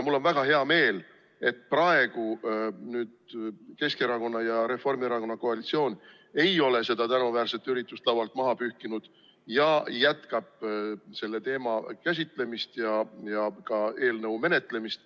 Mul on väga hea meel, et praegune Keskerakonna ja Reformierakonna koalitsioon ei ole seda tänuväärset üritust laualt maha pühkinud ja jätkab selle teema käsitlemist ja ka eelnõu menetlemist.